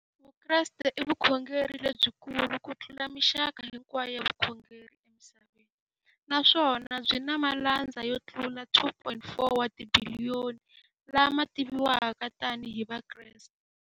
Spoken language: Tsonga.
Vukreste i vukhongeri lebyi kulu kutlula mixaka hinkwayo ya vukhongeri emisaveni, naswona byi na malandza yo tlula 2.4 wa tibiliyoni, la ma tiviwaka tani hi Vakreste.